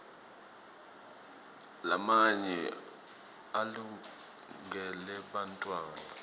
lamanye alungele bantfwana